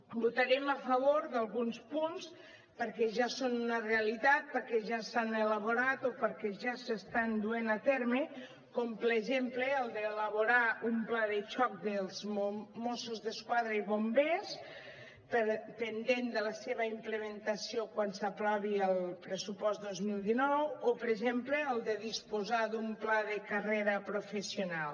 votarem a favor d’alguns punts perquè ja són una realitat perquè ja s’han elaborat o perquè ja s’estan duent a terme com per exemple el d’elaborar un pla de xoc dels mossos d’esquadra i bombers pendent de la seva implementació quan s’aprovi el pressupost dos mil dinou o per exemple el de disposar d’un pla de carrera professional